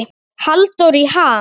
Halldór í ham